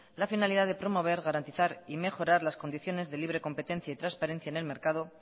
la finalidad de promover garantizar y mejorar las condiciones de libre competencia y transparencia en el mercado